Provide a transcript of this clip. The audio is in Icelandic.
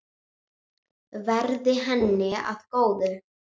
Verði henni að góðu.